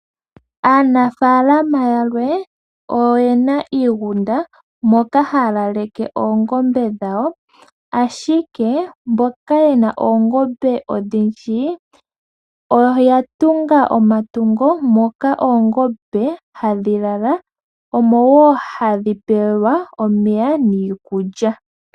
Aanafaalama yamwe oyena iigunda moka haya laleke oongombe dhawo ashike mboka yena oongombe odhindji , oya tunga omatungo moka oongombe hadhi lala, omo woo hadhi pelwa omeya niikulya.